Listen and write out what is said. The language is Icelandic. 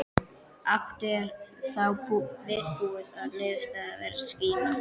Áttu, er þá viðbúið að niðurstaðan verði sýkna?